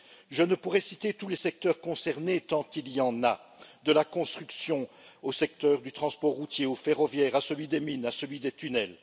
Je ne pourrais citer tous les secteurs concernés, tant il y en a de la construction, au secteur du transport routier ou ferroviaire, à celui des mines ou encore à celui des tunnels.